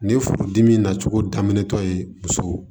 Ni furudimi nacogo daminɛtɔ ye muso